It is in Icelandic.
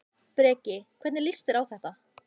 Breki: Hvernig líst þér á þetta?